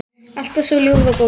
Alltaf svo ljúfur og góður.